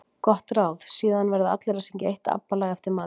Gott ráð: Síðan verða allir að syngja eitt ABBA lag eftir matinn.